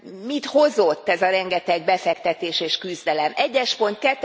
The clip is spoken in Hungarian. Mit hozott ez a rengeteg befektetés és küzdelem 1 es pont.